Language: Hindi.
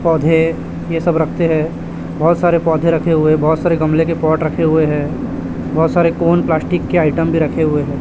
पौधे ये सब रखते हैं बहोत सारे पौधे रखे हुए है बहोत सारे गमले के पॉट रखे हुए हैं बहोत सारे कोन प्लास्टिक के आइटम भी रखे हुए हैं।